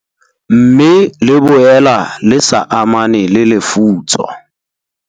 Mme le boela le sa amane le lefutso.